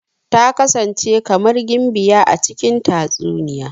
Ta kasance kamar gimbiya a cikin tatsuniya.